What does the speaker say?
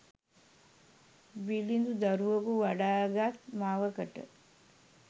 බිළිඳු දරුවකු වඩා ගත් මවකට,